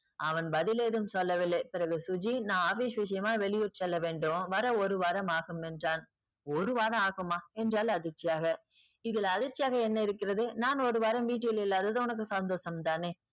அவன் பதில் ஏதும் சொல்லவில்லை. பிறகு சுஜி நான் office விஷயமா வெளியூர் செல்ல வேண்டும் வர ஒரு வாரம் ஆகும் என்றான். ஒரு வாரம் ஆகுமா என்றாள் அதிர்ச்சியாக. இதில் அதிர்ச்சியாக என்ன இருக்கிறது நான் ஒரு வாரம் வீட்டில் இல்லாதது உனக்கு சந்தோஷம் தானே.